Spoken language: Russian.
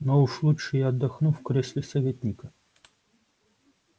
но уж лучше я отдохну в кресле советника